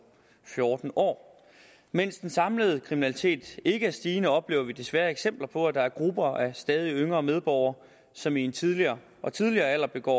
fjorten år mens den samlede kriminalitet ikke er stigende oplever vi desværre eksempler på at der er grupper af stadig yngre medborgere som i en tidligere og tidligere alder begår